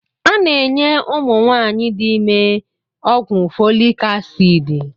A na-enye ụmụ nwaanyị dị ime ọgwụ Folik asidi